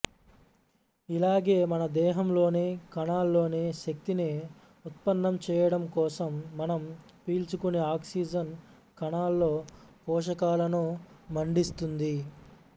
ఇలాగే మన దేహంలోని కణాల్లోనూ శక్తిని ఉత్పన్నం చేయడం కోసం మనం పీల్చుకునే ఆక్సిజన్ కణాల్లో పోషకాలను మండిస్తుంది